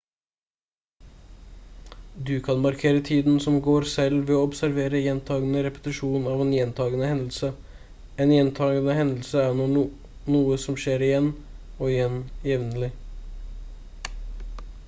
du kan markere tiden som går selv ved å observere gjentagende repetisjon av en gjentagende hendelse en gjentagende hendelse er noe som skjer igjen og igjen jevnlig